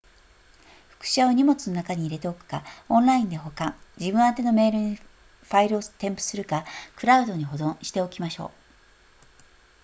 複写を荷物の中に入れておくかオンラインで保管自分宛てのメールにファイルを添付するかクラウドに保存しておきましょう